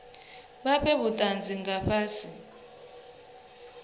vha fhe vhutanzi nga fhasi